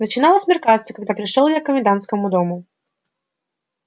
начинало смеркаться когда пришёл я к комендантскому дому